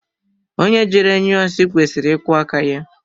Onye jere nyụọ nsị kwesịrị ịkwọ áká ya.